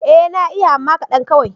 Ee na iya amma kaɗan kawai.